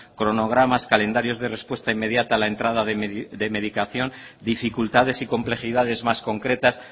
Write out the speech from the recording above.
cronogramas calendarios de respuesta inmediata la entrada de medicación dificultades y complejidades más concretas